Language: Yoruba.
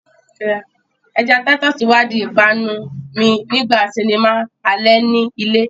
Ẹja Titus wá di ìpanu mi nígbà sinimá alẹ́ ni ilé